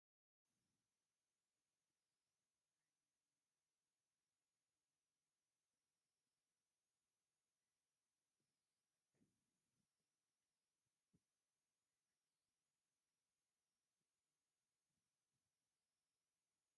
እዞም ጫማታት ንውራይ ወይ ንመርዓ ዝኸውን ፍሉይ ቅዲ ዘለዎምን ጽቡቓትን ጫማታት እዮም። እዞም ንብሩሃት ብሩር ጫማታት ንእንታይ ዓይነት ፍጻመ ፍጹማት ምኾኑ?